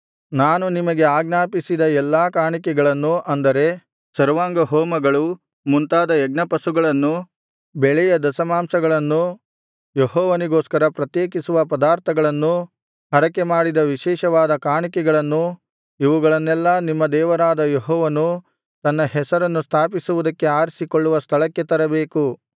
ನಾನು ನಿಮಗೆ ಆಜ್ಞಾಪಿಸಿದ ಎಲ್ಲಾ ಕಾಣಿಕೆಗಳನ್ನು ಅಂದರೆ ಸರ್ವಾಂಗಹೋಮಗಳೇ ಮುಂತಾದ ಯಜ್ಞಪಶುಗಳನ್ನೂ ಬೆಳೆಯ ದಶಮಾಂಶಗಳನ್ನೂ ಯೆಹೋವನಿಗೋಸ್ಕರ ಪ್ರತ್ಯೇಕಿಸುವ ಪದಾರ್ಥಗಳನ್ನೂ ಹರಕೆಮಾಡಿದ ವಿಶೇಷವಾದ ಕಾಣಿಕೆಗಳನ್ನೂ ಇವುಗಳನ್ನೆಲ್ಲಾ ನಿಮ್ಮ ದೇವರಾದ ಯೆಹೋವನು ತನ್ನ ಹೆಸರನ್ನು ಸ್ಥಾಪಿಸುವುದಕ್ಕೆ ಆರಿಸಿಕೊಳ್ಳುವ ಸ್ಥಳಕ್ಕೇ ತರಬೇಕು